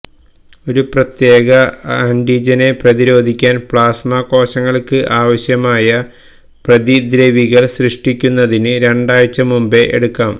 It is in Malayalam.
ഒരു പ്രത്യേക ആന്റിജനെ പ്രതിരോധിക്കാൻ പ്ലാസ്മ കോശങ്ങൾക്ക് ആവശ്യമായ പ്രതിദ്രവികൾ സൃഷ്ടിക്കുന്നതിന് രണ്ടാഴ്ച മുമ്പേ എടുക്കാം